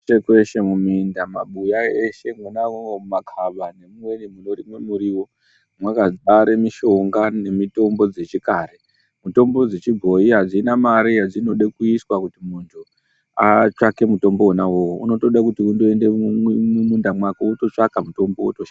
Kweshe kweshe muminda, mumabuya eshe wona iwowo mumakaba anorimwe muriwo mwakazare mishonga, nemitombo dzechikare .Mitombo dzechibhoyi hadzina mari yadzinode kuiswa kuti muntu atsvage mutombo wona iwowo unotode kuti utoenda mumunda mwako wototsvaga mutombo wotoshandisa.